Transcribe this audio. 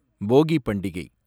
போகிப் பண்டிகை